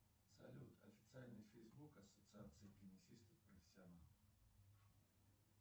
салют официальный фейсбук ассоциации теннисистов профессионалов